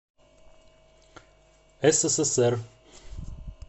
ссср